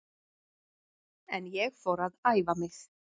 En ég fór að æfa mig.